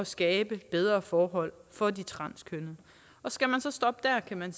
skabe bedre forhold for de transkønnede skal man så stoppe der kan man